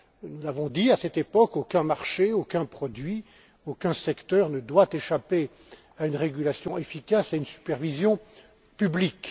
Nous avons dit à cette époque qu'aucun marché, aucun produit, aucun secteur ne doit échapper à une régulation efficace et à une supervision publique.